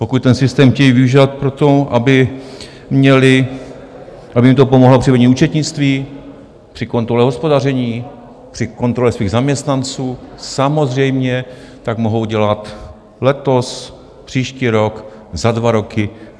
Pokud ten systém chtějí využívat pro to, aby měli, aby jim to pomohlo při vedení účetnictví, při kontrole hospodaření, při kontrole svých zaměstnanců, samozřejmě tak mohou dělat letos, příští rok, za dva roky.